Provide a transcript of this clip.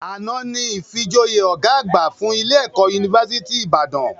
Àná ni ìfijoyè ọ̀gá àgbà fún ilé - ẹ̀kọ́ unifásítì Ìbàdàn